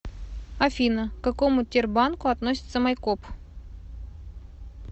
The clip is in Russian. афина к какому тербанку относится майкоп